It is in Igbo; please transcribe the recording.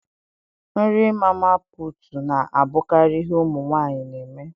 Nri mama puutu na abụkarị ihe ụmụ nwanyị na eme.